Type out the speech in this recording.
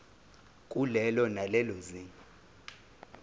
kulelo nalelo zinga